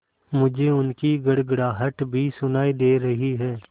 मुझे उनकी गड़गड़ाहट भी सुनाई दे रही है